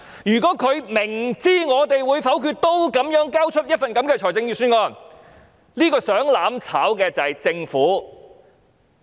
如果政府明知我們會否決預算案仍交出一份這樣的預算案，想"攬炒"的就是政府。